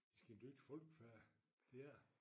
Sket ny folkefærd det er det